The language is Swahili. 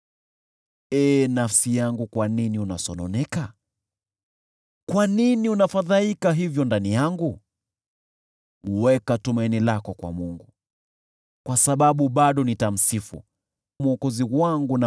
Ee nafsi yangu, kwa nini unasononeka? Kwa nini unafadhaika hivyo ndani yangu? Weka tumaini lako kwa Mungu, kwa sababu bado nitamsifu, Mwokozi wangu na